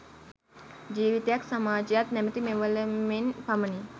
ජීවිතයත් සමාජයත් නමැති මෙවලමෙන් පමණි.